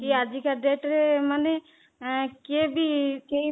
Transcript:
ସିଏ ଆଜିକା date ରେ ମାନେ କିଏ ବି କେହି